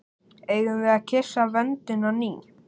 Eigum við að kyssa vöndinn á ný?